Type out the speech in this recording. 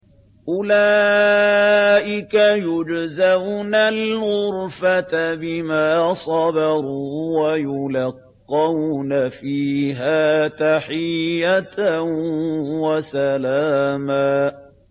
أُولَٰئِكَ يُجْزَوْنَ الْغُرْفَةَ بِمَا صَبَرُوا وَيُلَقَّوْنَ فِيهَا تَحِيَّةً وَسَلَامًا